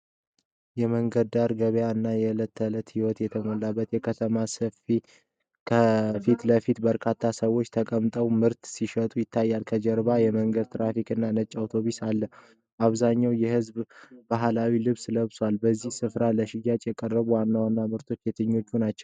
የመንገድ ዳር ገበያ እና የእለት ተዕለት ሕይወት የተሞላበት የከተማ ስፍራ። ከፊት ለፊት በርካታ ሰዎች ተቀምጠው ምርት ሲሸጡ ይታያል። ከጀርባ የመንገድ ትራፊክ እና ነጭ አውቶቡስ አሉ። አብዛኛው ህዝብ ባህላዊ ልብስ ለብሷል። በዚህ ስፍራ ለሽያጭ የቀረቡት ዋና ዋና ምርቶች የትኞቹ ናቸው?